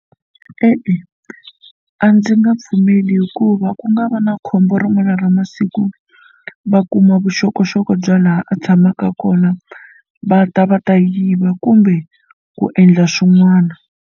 E-e, a ndzi nga pfumeli hikuva ku nga va na khombo rin'wana ra masiku va kuma vuxokoxoko bya laha a tshamaka kona va ta va ta yiva kumbe ku endla swin'wana.